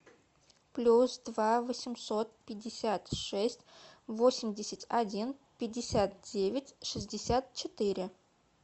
плюс два восемьсот пятьдесят шесть восемьдесят один пятьдесят девять шестьдесят четыре